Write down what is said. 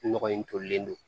Nɔgɔ in tolilen don